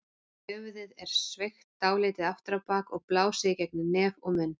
Höfuðið er sveigt dálítið aftur á bak og blásið í gegnum nef og munn.